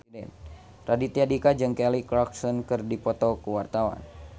Raditya Dika jeung Kelly Clarkson keur dipoto ku wartawan